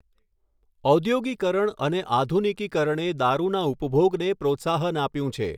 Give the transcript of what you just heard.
ઔઘોગીકરણ અને આધુનિકીકરણે દારૂના ઉપભોગને પ્રોત્સાહન આપ્યું છે.